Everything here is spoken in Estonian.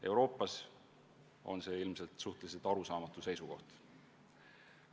Euroopas on see ilmselt suhteliselt arusaamatu seisukoht.